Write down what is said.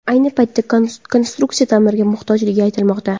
Ayni paytda konstruksiya ta’mirga muhtojligi aytilmoqda.